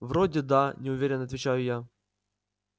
вроде да неуверенно отвечаю я